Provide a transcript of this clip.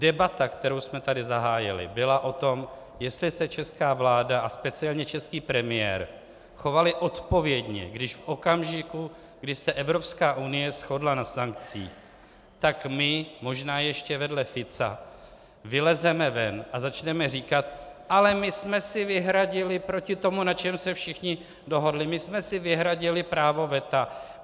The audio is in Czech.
Debata, kterou jsme tady zahájili, byla o tom, jestli se česká vláda a speciálně český premiér chovali odpovědně, když v okamžiku, kdy se Evropská unie shodla na sankcích, tak my, možná ještě vedle Fica, vylezeme ven a začneme říkat: Ale my jsme si vyhradili proti tomu, na čem se všichni dohodli, my jsme si vyhradili právo veta.